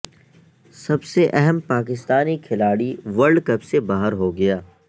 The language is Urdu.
سب سے اہم پاکستانی کھلاڑی ورلڈ کپ سے باہر ہو گیا